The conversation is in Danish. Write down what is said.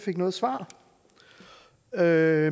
er